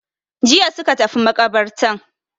Jiya suka tafi maƙabartan.